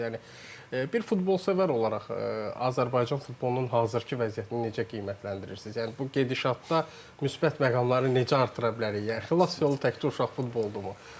Bir futbolsevər olaraq Azərbaycan futbolunun hazırki vəziyyətini necə qiymətləndirirsiniz, yəni bu gedişatda müsbət məqamları necə artıra bilərik, yəni xilas yolu təkdə uşaq futboludurmu?